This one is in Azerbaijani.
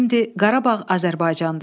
Qarabağ Azərbaycandır.